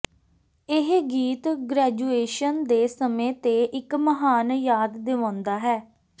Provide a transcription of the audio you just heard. ਇਹ ਗੀਤ ਗ੍ਰੈਜੂਏਸ਼ਨ ਦੇ ਸਮੇਂ ਤੇ ਇੱਕ ਮਹਾਨ ਯਾਦ ਦਿਵਾਉਂਦਾ ਹੈ